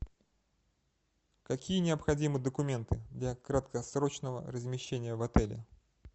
какие необходимы документы для краткосрочного размещения в отеле